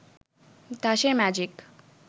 Tasher magic